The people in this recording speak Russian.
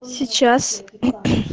сейчас